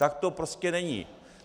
Tak to prostě není.